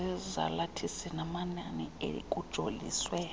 zezalathisi namanani ekujoliswe